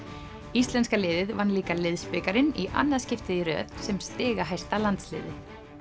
íslenska liðið vann líka í annað skiptið í röð sem stigahæsta landsliðið